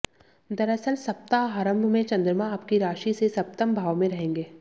दरअसल सप्ताहारंभ में चंद्रमा आपकी राशि से सप्तम भाव में रहेंगें